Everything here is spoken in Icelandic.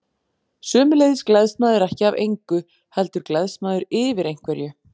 Sömuleiðis gleðst maður ekki af engu, heldur gleðst maður yfir einhverju.